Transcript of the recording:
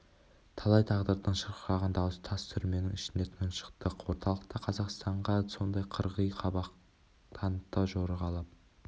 талай тағдырдың шырқыраған дауысы тас түрменің ішінде тұншықты орталық та қазақстанға сондай қырғи қабақ танытты жорғалап